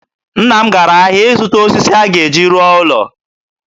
Nna m gara ahịa ịzụta osisi ọ ga-eji rụọ ụlọ.